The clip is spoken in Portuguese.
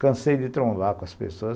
Cansei de trombar com as pessoas.